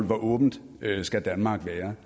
hvor åbent skal danmark være